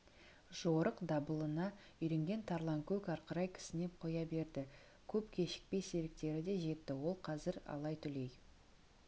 жорық дабылына үйренген тарланкөк арқырай кісінеп қоя берді көп кешікпей серіктері де жетті ол қазір алай-түлей